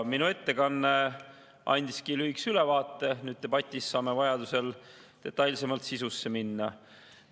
Minu ettekanne andis lühikese ülevaate, sest debatis saame vajadusel detailsemalt sisusse minna.